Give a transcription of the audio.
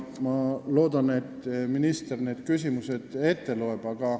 Ma loodan, et minister need ka ette loeb.